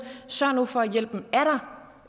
sørg nu for at hjælpen er der